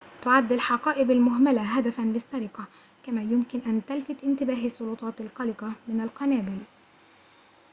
تعد الحقائب المهملة هدفاً للسرقة كما يمكن أن تلفت إنتباه السلطات القلقة من القنابل